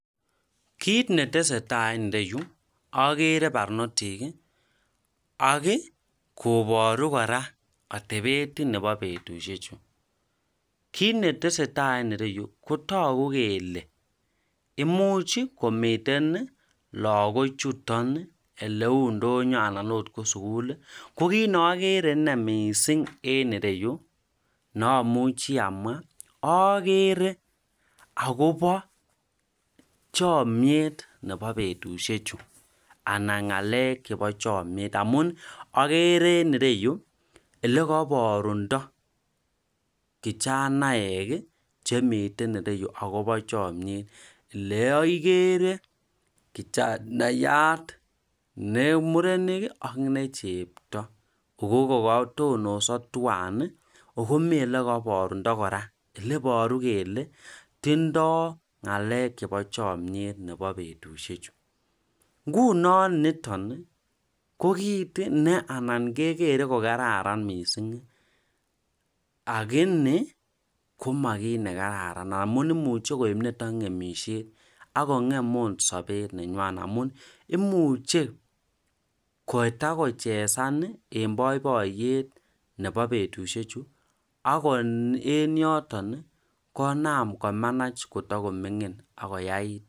kiit netesetai en ireyu ogere barnotik iih ak iih koboru kora otebet nebo betushechu, kiit netesetai en ireyu otogu kele imuuch iih komiten lagok chuton eleuu ndonyo anan ko suguul iih, ko kit neogere inei mising en ireyu neomuchi amwa ogere agobo chomyeet nebo betushechu anan ngaleek chebo chomyeet amuun gere enireyu elegoborundo kichanek chemiten ireyu agobo chomyeet, neogere kijanayat nemurenik iih ak nechepto, kogoboor kotonoso twaan iih ago mii elegoborundo kora eleboru kele tindo ngalek chebo chomyeet nebo betushek chu, ngunon niton iih ko kiit neanan kegere kogarararn kot mising lakini koma kiiit nagararan amuun imuche koib oot niton ngemisyet, ak kongem oot sobeet nenywan amuun imuche kotagochesan iih en boiboiyet nebo betushek chu ago en yoton iih konaam komanach kotagomingin ak koyaai,,